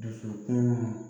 Dusukun